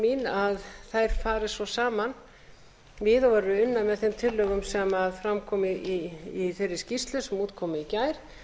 að þær fari svo saman xxx xxx unnar með þeim tillögum sem fram komu í þeirri skýrslu sem út kom í gær